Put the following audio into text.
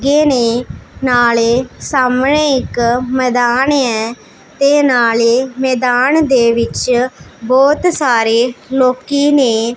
ਗੇ ਨੇਂ ਨਾਲੇ ਸਾਹਮਣੇ ਇੱਕ ਮੈਦਾਨ ਹੈ ਤੇ ਨਾਲੇ ਮੈਦਾਨ ਦੇ ਵਿੱਚ ਬਹੁਤ ਸਾਰੇ ਲੋਕੀ ਨੇਂ।